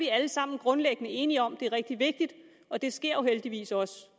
er alle sammen grundlæggende enige om at det er rigtig vigtigt og det sker jo heldigvis også